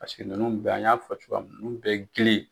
Paseke ninnu bɛɛ an y'a fɔ cogoya min na n'u bɛ girin.